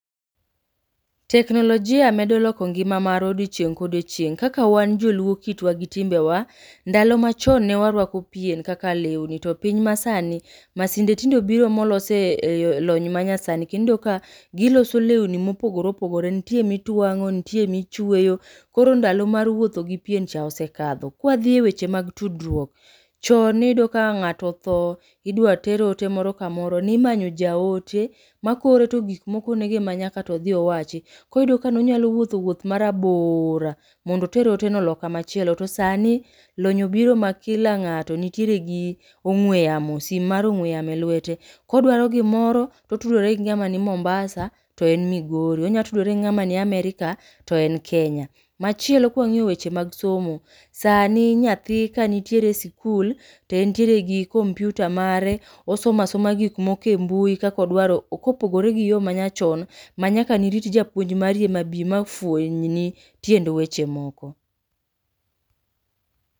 Teknolojia medo loko ngima marwa odiochieng' kodiochieng'. Kaka wan joluo kitwa gi timbewa, ndalo machon ne warwako pien kaka lewni to piny ma sani, masinde tindo biro molose lony ma nyasani. Kendo iyudo ka giloso lewni mopogore opogore, ntie mitwang'o ntie michweyo, kor ndalo mar wuotho gi pien cha osekadho. Kwa dhi e weche mag tudruok, chon niyudo ka ng'ato otho idwa ter ote moro kamoro. Nimanyo jaote ma koore to gik mokone go ema nyakato odhi owachi. Koro niyudo ka nonyalo wuotho wuoth ma rabora, mondo oter ote no loka machielo. To sani, lony obiro ma lkila ng'ato nitiere gi ong'we yamio, sim mar ong'we yamo e lwete. Kodwaro gimoro, kotudore gi ng'ama ni Mombasa to en Migori, onya tudore gi ng'ama ni Amerka to en Kenya. Machielo kwang'iyo weche mag somo, sani nyathi kanitiere e sikul to entiere gi kompyuta mare. Osoma soma gik moko e mbui kakodwaro ok, kopogore gi yo manyachon ma nyaka nirit japuonj mari ema bi ma fweny ni tiend weche moko.